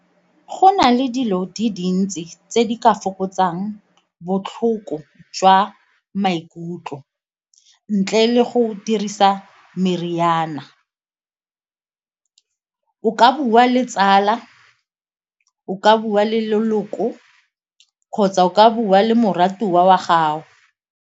Go na le dilo di dintsi tse di ka fokotsang botlhoko jwa maikutlo ntle le go dirisa meriana, o ka bua le tsala, o ka bua le leloko kgotsa o ka bua le moratuwa wa gago.